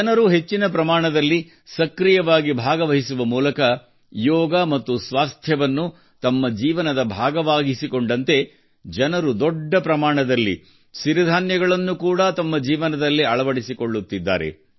ಜನರು ಹೆಚ್ಚಿನ ಪ್ರಮಾಣದಲ್ಲಿ ಸಕ್ರಿಯವಾಗಿ ಭಾಗವಹಿಸುವ ಮೂಲಕ ಯೋಗ ಮತ್ತು ದೇಹದಾರ್ಢ್ಯವನ್ನು ತಮ್ಮ ಜೀವನದ ಭಾಗವಾಗಿಸಿಕೊಂಡಂತೆ ಜನರು ದೊಡ್ಡ ಪ್ರಮಾಣದಲ್ಲಿ ಸಿರಿಧಾನ್ಯಗಳನ್ನು ಕೂಡಾ ತಮ್ಮ ಜೀವನದಲ್ಲಿ ಅಳವಡಿಸಿಕೊಳ್ಳುತ್ತಿದ್ದಾರೆ